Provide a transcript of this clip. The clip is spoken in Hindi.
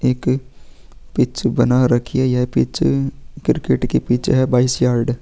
एक पिच बना रखी है यह पिच क्रिकेट की पिच है बाईस यार्ड --